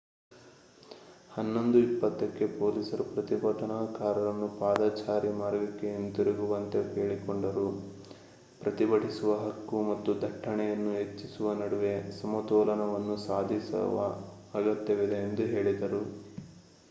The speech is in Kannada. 11 20 ಕ್ಕೆ ಪೊಲೀಸರು ಪ್ರತಿಭಟನಾಕಾರರನ್ನು ಪಾದಚಾರಿ ಮಾರ್ಗಕ್ಕೆ ಹಿಂತಿರುಗುವಂತೆ ಕೇಳಿಕೊಂಡರು ಪ್ರತಿಭಟಿಸುವ ಹಕ್ಕು ಮತ್ತು ದಟ್ಟಣೆಯನ್ನು ಹೆಚ್ಚಿಸುವ ನಡುವೆ ಸಮತೋಲನವನ್ನು ಸಾಧಿಸುವ ಅಗತ್ಯವಿದೆ ಎಂದು ಹೇಳಿದರು